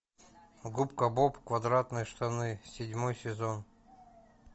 губка боб квадратные штаны седьмой сезон